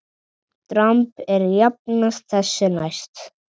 Dramb er jafnan þessu næst.